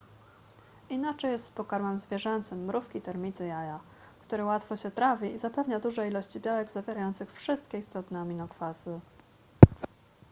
inaczej jest z pokarmem zwierzęcym mrówki termity jaja który łatwo się trawi i zapewnia duże ilości białek zawierających wszystkie istotne aminokwasy